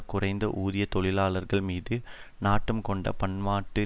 குறைந்த ஊதிய தொழிலாளர்கள் மீது நாட்டம் கொண்ட பன்னாட்டு